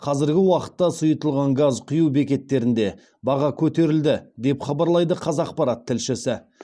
қазіргі уақытта сұйытылған газ құю бекеттерінде баға көтерілді деп хабарлайды қазақпарат тілшісі